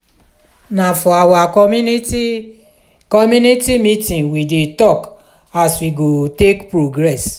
na for our community community meeting we dey tok as we go take progress.